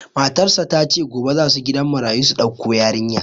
Matar shi ta ce, gobe za su gidan marayu su dauko yarinya.